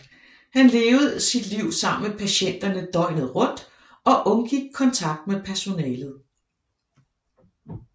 Han levede sit liv sammen med patienterne døgnet rundt og undgik kontakt med personalet